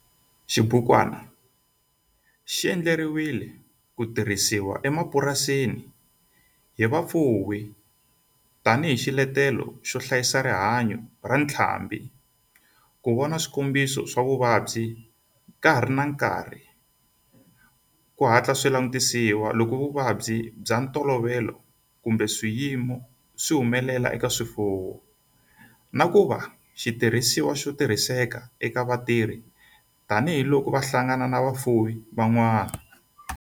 Xibukwana xi endliwe ku tirhisiwa emapurasini hi vafuwi tani hi xiletelo xo hlayisa rihanyo ra ntlhambhi, ku vona swikombiso swa vuvabyi ka ha ri na nkarhi ku hatla swi langutisiwa loko vuvabyi bya ntolovelo kumbe swiyimo swi humelela eka swifuwo, na ku va xitirhisiwa xo tirhiseka eka vatirhi tani hi loko va hlangana na vafuwi van'wana.